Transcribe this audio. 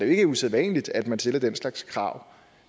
ikke usædvanligt at man stiller den slags krav